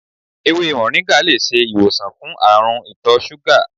Ewé moringa lè ṣe ìwòsàn fún àrùn itọ́ súgà.